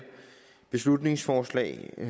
beslutningsforslag vi